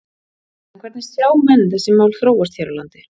En hvernig sjá menn þessi mál þróast hér á landi?